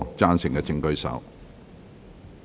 贊成的請舉手。